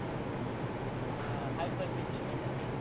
हा hyper picture बघितला का?